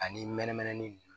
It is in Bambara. Ani mɛnɛmɛnɛ ni